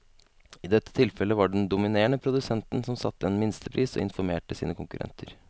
I dette tilfellet var det den dominerende produsenten som satte en minstepris og informerte sine konkurrenter.